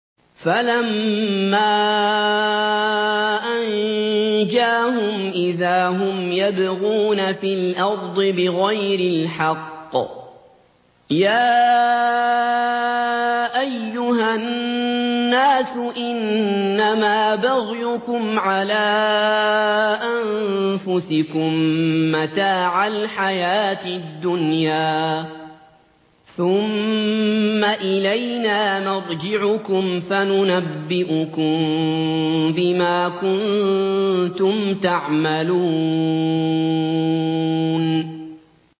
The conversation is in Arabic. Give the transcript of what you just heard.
فَلَمَّا أَنجَاهُمْ إِذَا هُمْ يَبْغُونَ فِي الْأَرْضِ بِغَيْرِ الْحَقِّ ۗ يَا أَيُّهَا النَّاسُ إِنَّمَا بَغْيُكُمْ عَلَىٰ أَنفُسِكُم ۖ مَّتَاعَ الْحَيَاةِ الدُّنْيَا ۖ ثُمَّ إِلَيْنَا مَرْجِعُكُمْ فَنُنَبِّئُكُم بِمَا كُنتُمْ تَعْمَلُونَ